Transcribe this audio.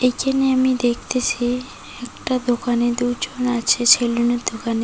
এখানে আমি দেখতেছি একটা দোকানে দুজন আছে সেলুনের দোকানে।